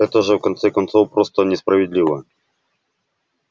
это же в конце концов просто несправедливо